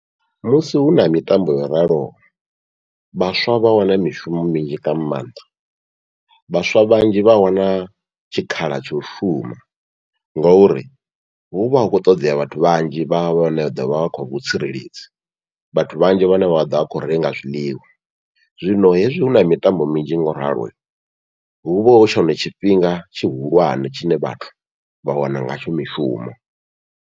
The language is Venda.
Musi huna mitambo yo raloho, vhaswa vha wana mishumo minzhi nga maanḓa vhaswa vhanzhi vha wana tshikhala tsha u shuma, ngauri huvha hu khou ṱoḓea vhathu vhanzhi vha vhane vha ḓovha vha kha vhutsireledzi, vhathu vhanzhi vhane vha ḓovha vha kho renga zwiḽiwa. Zwino hezwi huna mitambo minzhi ngoralo, huvha hu tshone tshifhinga tshihulwane tshine vhathu vha wana ngatsho mishumo.